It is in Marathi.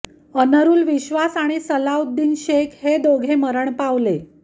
अनरूल विश्वास आणि सलाउद्दीन शेख हे दोघे मरण पावले